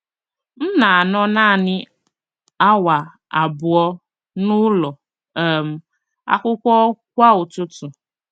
M na - anọ nanị awa abụọ n’ụlọ um akwụkwọ kwa ụtụtụ.